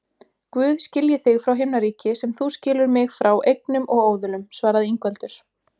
Guð skilji þig frá himnaríki sem þú skilur mig frá eignum og óðulum, svaraði Ingveldur.